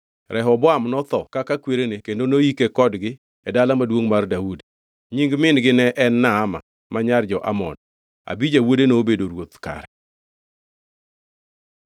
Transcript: Rehoboam notho kaka kwerene kendo noyike kodgi e Dala Maduongʼ mar Daudi. Nying min-gi ne en Naama; ma nyar jo-Amon. Abija wuode nobedo ruoth kare.